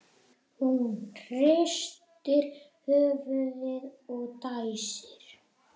Hún hristir höfuðið og dæsir.